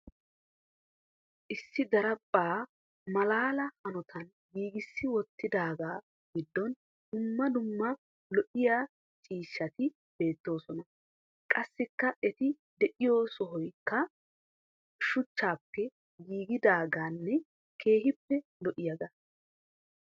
Issi daraphpha malaala hanotan giigissi wottidooga giddon dumma dumma lo"iyaa ciishshati beettoosona. Qassikka eti de'iyo sohoykka shuchchappe giigidaaganne keehippe lo"iyaaga.